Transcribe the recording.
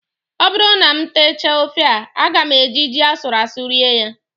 Ọ bụrụ na m techaa ofe a, aga m eji ji asụrụ asụ rie ya